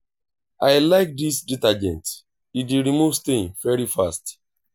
i like dis detergent e dey remove stain very fast